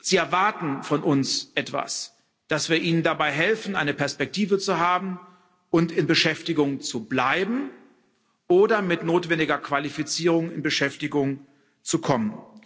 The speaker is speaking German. Sie erwarten von uns etwas dass wir ihnen dabei helfen, eine Perspektive zu haben und in Beschäftigung zu bleiben oder mit notwendiger Qualifizierung in Beschäftigung zu kommen.